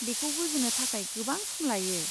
बेखौ बुजिनो थाखाय गोबां सम लायो।